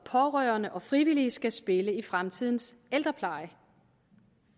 pårørende og frivillige skal spille i fremtidens ældrepleje